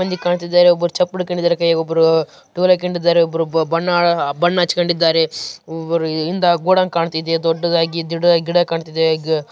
ಇಲ್ಲಿ ಕಾಣುತ್ತಿದ್ದಾರೆ ಒಬ್ಬರು ಚಪ್ಪಲಿ ಹಾಕಿಕೊಂಡಿದ್ಧಾರೆ ಕೈ ಅಲ್ಲಿ ಒಬ್ಬರು ಟವಲ್‌ ಹಾಕಿಕೊಂಡಿದ್ದಾರೆ ಒಬ್ಬರು ಬಣ್ಣ ಹಚ್ಚಿಕೊಂಡಿದ್ದಾರೆ ಹಿಂದೆ ಗೋಡನ್‌ ಕಾಣ್ತಾ ಇದೆ ದೊಡ್ಡದಾಗಿ ಗಿಡ ಕಾಣ್ತಾ ಇದೆ.